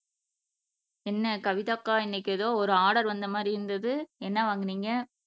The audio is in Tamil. என்ன கவிதா அக்கா இன்னைக்கு எதோ ஒரு ஆர்டர் வந்த மாதிரி இருந்தது என்ன வாங்குனீங்க